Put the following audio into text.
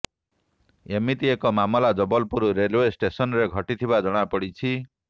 ଏମିତି ଏକ ମାମଲା ଜବଲପୁର ରେଲେଓ୍ବ ଷ୍ଟେସନ୍ରେ ଘଟିଥିବା ଜଣାପଡ଼ିଛ